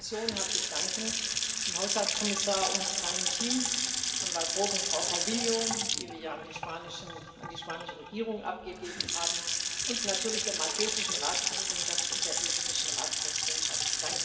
Ich möchte der Kommission herzlich danken, dem Haushaltskommissar und seinem Team, Herrn Waelbroeck und Frau Calviño, die wir ja an die spanische Regierung abgegeben haben, und natürlich der maltesischen Ratspräsidentschaft und der estnischen Ratspräsidentschaft.